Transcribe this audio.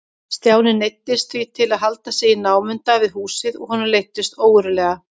Stjáni neyddist því til að halda sig í námunda við húsið og honum leiddist ógurlega.